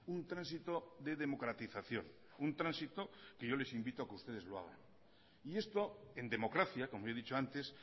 un tránsito de democratización un tránsito que yo les invito a que ustedes lo hagan y esto en democracia como he dicho antes